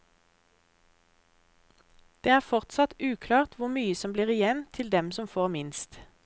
Det er fortsatt uklart hvor mye som blir igjen til dem som får minst.